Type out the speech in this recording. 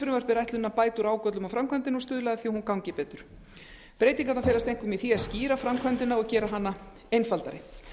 er ætlunin að bæta úr ágöllum á framkvæmdinni og stuðla að því að hún gangi betur breytingarnar felast einkum í því að skýra framkvæmdina og gera hana einfaldari